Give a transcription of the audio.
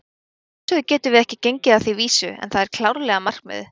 Að sjálfsögðu getum við ekki gengið að því vísu, en það er klárlega markmiðið.